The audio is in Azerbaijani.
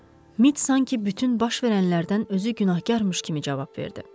Mit sanki bütün baş verənlərdən özü günahkarmış kimi cavab verdi.